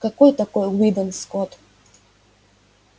какой такой уидон скотт